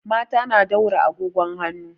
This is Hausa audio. Mata na daura agogon hanu.